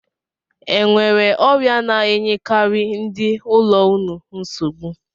E nwere ọrịa na-enyekarị ndị ụlọ unu nsogbu?